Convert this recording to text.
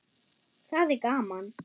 Það er gaman.